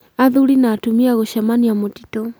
Athuri na atumia gũcemanĩa mũtĩtũ